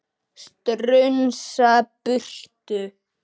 Strunsa burtu.